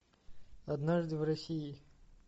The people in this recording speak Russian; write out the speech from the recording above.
однажды в россии